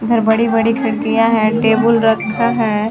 उधर बड़ी-बड़ी खिड़कियाँ है टेबुल रखा है।